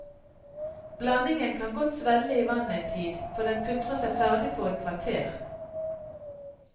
Blandingen kan godt svelle i vannet en tid, for den putrer seg ferdig på et kvarter.